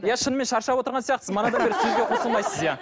иә шынымен шаршап отырған сияқтысыз